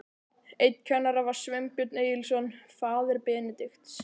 Einn kennara var Sveinbjörn Egilsson, faðir Benedikts.